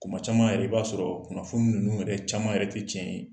Kuma caman yɛrɛ, i b'a sɔrɔɔ kunnafoni ninnu yɛrɛ caman yɛrɛ te tiɲɛ ye.